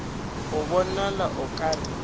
go bonala o ka re